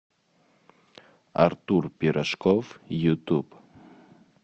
артур пирожков ютуб